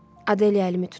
Adeliya əlimi tutur.